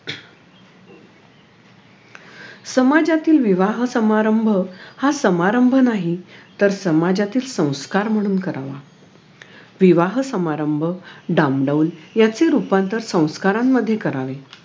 समाजातील विवाह समारंभ हा समारंभ नाही तर समाजातील संस्कार म्हणून करावा विवाह समारंभ डामडौल याचे रूपांतर संस्कारांमध्ये करावे